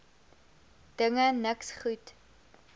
dinge niks goed